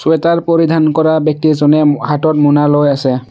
Sweater পৰিধান কৰা ব্যক্তি জনে হাতত মোনা লৈ আছে।